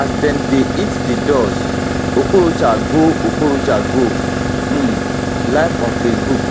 as dem dey hit di doors okorocha go okorocha go um live on facebook